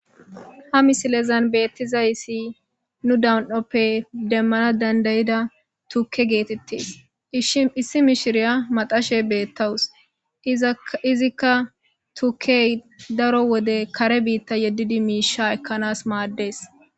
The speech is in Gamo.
Ha missilezan bettizayssi nu dan'oppe demmanas dandaiiza tuuke gettetes issi mishshiriya maxxashe bettawusu izzika tuukey daaro wode kaare biita yeedidi mishsha ekanas maades.